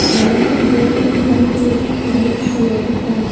बड़ा सा बोर्ड रखा है वाइट कलर का--